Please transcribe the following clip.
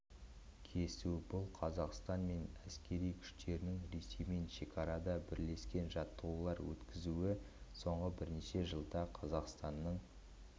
кесу бұл қазақстан мен әскери күштерінің ресеймен шекарада бірлескен жаттығулар өткізуі соңғы бірнеше жылда қазақстанның